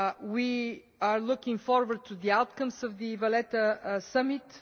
We are looking forward to the outcomes of the Valletta Summit.